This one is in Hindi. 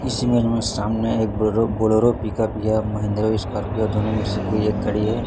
इस इमेज मे सामने एक बोलो बोलोरो पिकअप या महिंद्रा स्कार्पियो दोनों में से कोई एक गाड़ी है।